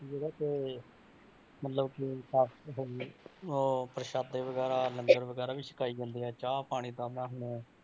ਜਿਹੜਾ ਕਿ ਮਤਲਬ ਕਿ ਕਾਫ਼ੀ ਜਗ੍ਹਾ ਤੇ ਅਹ ਪ੍ਰਸਾਦੇ ਵਗ਼ੈਰਾ ਲੰਗਰ ਵਗ਼ੈਰਾ ਵੀ ਸਕਾਈ ਜਾਂਦੇ ਆ ਚਾਹ ਪਾਣੀ ਆਹ ਮੈਂ ਹੁਣ,